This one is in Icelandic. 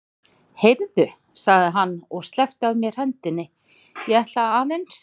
Heyrðu, sagði hann og sleppti af mér hendinni, ég ætla aðeins.